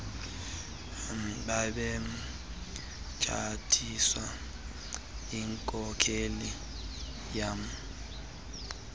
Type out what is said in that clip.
babetshatiswe yinkokheli yama